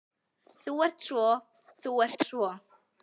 Þú ert svo. þú ert svo.